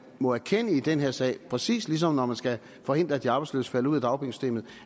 må erkende i den her sag præcis ligesom når man skal forhindre at de arbejdsløse falder ud af dagpengesystemet